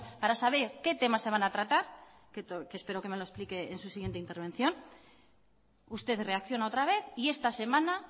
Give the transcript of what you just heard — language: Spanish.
para saber qué temas se van a tratar que espero que me lo explique en su siguiente intervención usted reacciona otra vez y esta semana